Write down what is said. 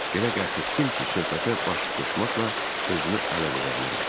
Belə qət etdim ki, söhbətə baş qoşmaqla özümü ələ verə bilərəm.